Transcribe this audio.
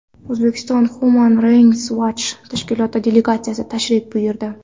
O‘zbekistonga Human Rights Watch tashkiloti delegatsiyasi tashrif buyurdi.